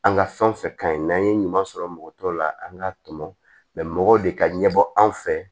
An ka fɛn fɛn kaɲi n'an ye ɲuman sɔrɔ mɔgɔ tɔw la an ka tɔmɔ mɛ mɔgɔ de ka ɲɛbɔ anw fɛ